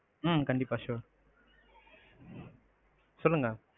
உம் கண்டிப்பா sure சொல்லுங்க.